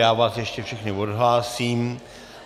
Já vás ještě všechny odhlásím.